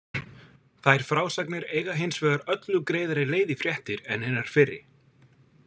Þær frásagnir eiga hins vegar öllu greiðari leið í fréttir en hinar fyrri.